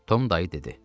Tom dayı dedi.